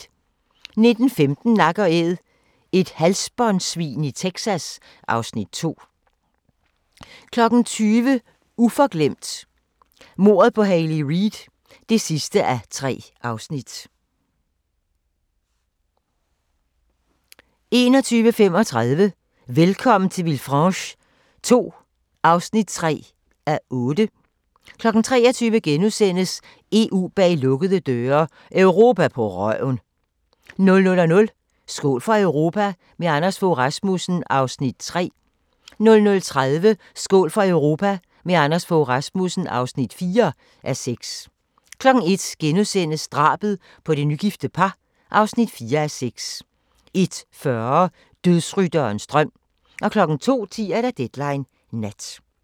19:15: Nak & Æd – et halsbåndsvin i Texas (Afs. 2) 20:00: Uforglemt: Mordet på Hayley Reid (3:3) 21:35: Velkommen til Villefranche II (3:8) 23:00: EU bag lukkede døre: Europa på røven * 00:00: Skål for Europa – med Anders Fogh Rasmussen (3:6) 00:30: Skål for Europa – med Anders Fogh Rasmussen (4:6) 01:00: Drabet på det nygifte par (4:6)* 01:40: Dødsrytterens drøm 02:10: Deadline Nat